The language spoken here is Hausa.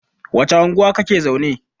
wacce unguwa kake zaune?